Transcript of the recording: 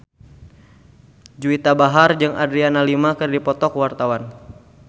Juwita Bahar jeung Adriana Lima keur dipoto ku wartawan